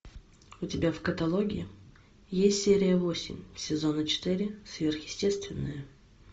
у тебя в каталоге есть серия восемь сезона четыре сверхъестественное